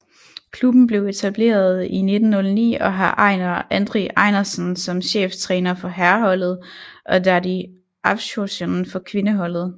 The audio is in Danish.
Klubben blev etableret i 1909 og har Einar Andri Einarsson som cheftræner for herreholdet og Daði Hafþórsson for kvindeholdet